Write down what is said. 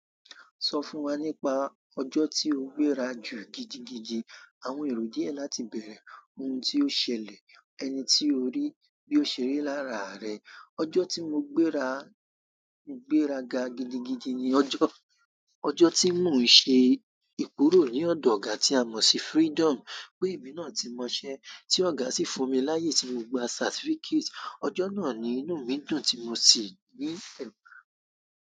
Sọ fún wa nípa ọjọ́ tí o gbéra jù gidigidi. Àwọn èrò díẹ̀ láti bẹ̀rẹ̀, ohun tí ó ṣẹlẹ̀, ẹni tí o rí, bí ó ṣe rí lára rẹ. Ọjọ́ tí mo gbéra ga gidigidi ni ọjọ́ tí mò ń ṣe ìkurò ní ọ̀dọ̀ ọ̀gá tí a mọ̀ sí Freedom pé èmi náà ti mọṣẹ́, tí ọ̀gá sì fún mi láyé tí mo gba certificate. Ọjọ́ náà ni inú mi dùn tí mo sì ní ẹ̀fà.